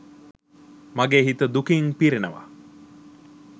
මගේ හිත දුකින් පිරෙනවා.